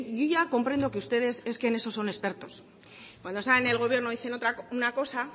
yo ya comprendo que ustedes es que en eso son expertos cuando salen en el gobierno dicen una cosa